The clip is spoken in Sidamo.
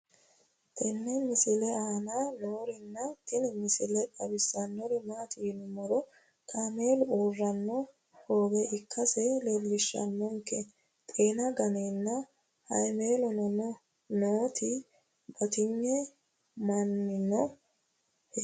tenne misile aana noorina tini misile xawissannori maati yinummoro kaammelu uurranno hoowe ikkasse leelishshannonke xeenna ganeenna haammelonno nootti battinyu manninno heera